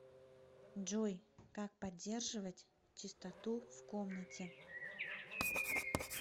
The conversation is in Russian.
джой как поддерживать чистоту в комнате